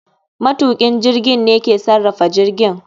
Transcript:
Matukin jirgin ne ke sarrafa jirgin